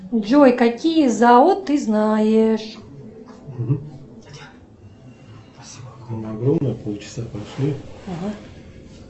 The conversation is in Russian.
джой какие зао ты знаешь